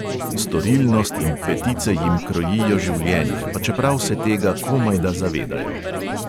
Storilnost in petice jim krojijo življenje, pa čeprav se tega komajda zavedajo.